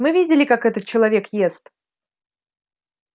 мы видели как этот человек ест